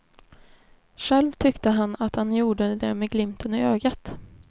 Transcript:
Själv tyckte han att han gjorde det med glimten i ögat.